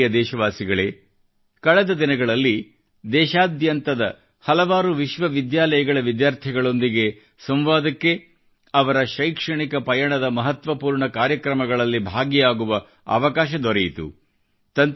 ನನ್ನ ಪ್ರಿಯ ದೇಶವಾಸಿಗಳೇ ಕಳೆದ ದಿನಗಳಲ್ಲಿ ದೇಶಾದ್ಯಂತದ ಹಲವಾರು ವಿಶ್ವ ವಿದ್ಯಾಲಯಗಳ ವಿದ್ಯಾರ್ಥಿಗಳೊಂದಿಗೆ ಸಂವಾದಕ್ಕೆ ಅವರ ಶೈಕ್ಷಣಿಕ ಪಯಣದ ಮಹತ್ವಪೂರ್ಣ ಕಾರ್ಯಕ್ರಮಗಳಲ್ಲಿ ಭಾಗಿಯಾಗುವ ಅವಕಾಶ ದೊರೆಯಿತು